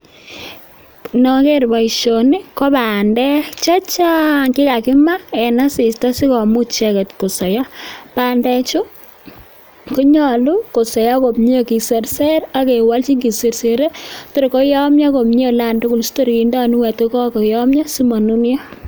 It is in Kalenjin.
Ndoger boisioni ko bandek che chang! Che kakimaa en asista si komuch icheget kosoiyo. Bandechu, ko nyolu kosoiyo komye, kiserser ak kewolchin kisersere tor koyomyo komye tugul asi tor kindo guniet ii ko kogoyomyo asi monunyo.